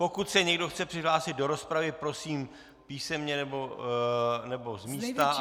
Pokud se někdo chce přihlásit do rozpravy, prosím písemně nebo z místa.